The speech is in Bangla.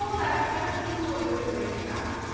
তো ব্যবসাটা শুরু করবে ভেবেছে না।